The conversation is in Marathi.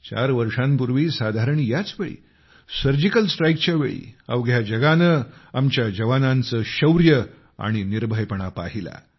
चार वर्षांपूर्वी साधारण याच वेळी सर्जिकल स्ट्राइकच्या वेळी अवघ्या जगाने आमच्या जवानांचे शौर्य आणि निर्भयपणा पाहिला